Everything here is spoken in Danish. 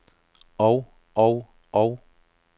og og og